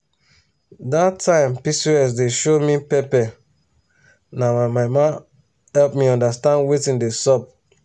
that time pcos dey show me pepper na my mama help me understand wetin dey sup.